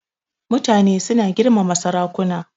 Mutane suna girmama sarakuna.